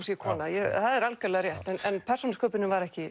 sé kona já það er algjörlega rétt en persónusköpunin var